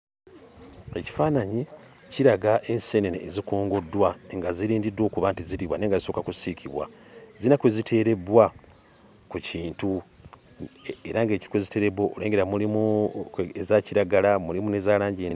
Ekifaananyi kiraga enseenene ezikongoddwa nga zirindiddwa okuba nti ziriibwa naye nga zisooka kusiikibwa. Zirina kwe ziteerebbwa ku kintu era ng'ekintu kwe ziteerebbwa okwo, nnengera mulimu eza kiragala, mulimu n'eza langi...